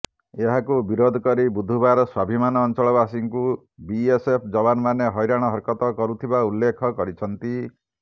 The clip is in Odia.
ଏହାକୁ ବିରୋଧ କରି ବୁଧବାର ସ୍ୱାଭିମାନ ଅଞ୍ଚଳବାସୀଙ୍କୁ ବିଏସ୍ଏଫ୍ ଯବାନମାନେ ହଇରାଣ ହରକତ କରୁଥିବା ଉଲ୍ଲେଖ କରିଛନ୍ତି